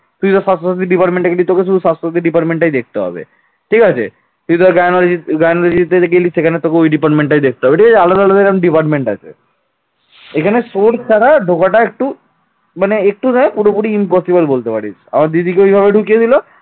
এখানে source ছাড়া ঢোকাটা একটু মানে একটু না পুরোপুরি impossible ধরতে পারিস। আর দিদিকে ওইভাবে ঢুকিয়ে দিল